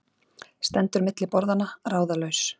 Stendur milli borðanna, ráðalaus.